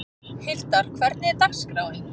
Hildar, hvernig er dagskráin?